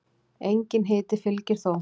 Enginn hiti fylgir þó.